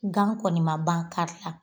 Gan kɔni ma ban kari la